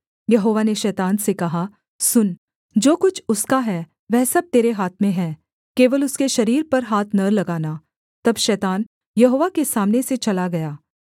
यहोवा ने शैतान से कहा सुन जो कुछ उसका है वह सब तेरे हाथ में है केवल उसके शरीर पर हाथ न लगाना तब शैतान यहोवा के सामने से चला गया